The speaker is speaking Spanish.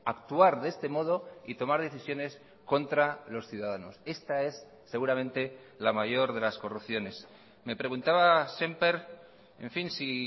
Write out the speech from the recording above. actuar de este modo y tomar decisiones contra los ciudadanos esta es seguramente la mayor de las corrupciones me preguntaba sémper en fin si